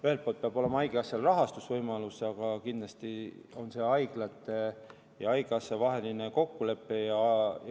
Ühelt poolt peab olema haigekassal rahastusvõimalus, aga kindlasti on see haiglate ja haigekassa vaheline kokkulepe.